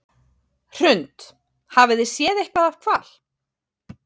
Hrund: Hafið þið séð eitthvað af hval?